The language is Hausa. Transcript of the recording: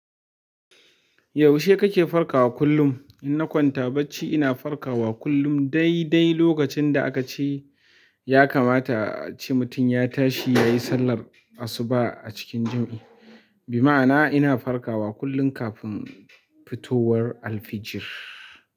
Yaushe kake farkawa kullum? Inna kwanta bacci ina farkawa kullum dai dai lokacin da aka ce ya kamata a ce mutum ya tashi ya yi sallar asuba a cikin jam'i. Bima'ana ina farkawa kullum kafin fitowar alfijir.